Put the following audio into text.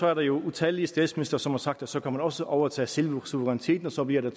er der jo utallige statsministre som har sagt at så kan man også overtage selve suveræniteten og så bliver der